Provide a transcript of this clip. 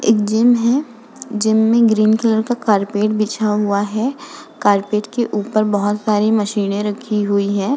एक जिम है। जिम में ग्रीन कलर का कारपेट बिछा हुआ है। कारपेट के ऊपर बोहोत सारी मशीनें रखी हुई है।